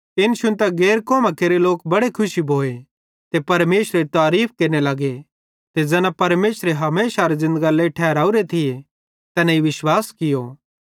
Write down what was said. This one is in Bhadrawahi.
इन शुन्तां गैर कौमां केरे लोक बड़े खुशी भोए ते परमेशरेरी तारीफ़ केरने लगे ते ज़ैना परमेशरे हमेशारी ज़िन्दगरे लेइ ठहरावरे थिये तैनेईं विश्वास कियो